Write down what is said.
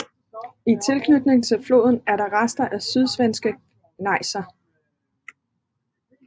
I tilknytning til floden er der rester af sydsvenske gnejser